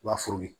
I b'a furu ye